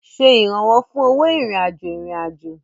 Ṣe ìrànwọ́ fún owó ìrìn-àjò ìrìn-àjò.